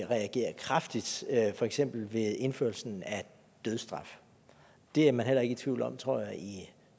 reagere kraftigt for eksempel ved indførelse af dødsstraf det er man heller ikke i tvivl om tror jeg i